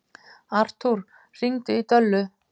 Artúr, hringdu í Döllu.